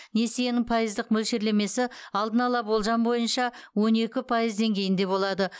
несиенің пайыздық мөлшерлемесі алдын ала болжам бойынша он екі пайыз деңгейінде болады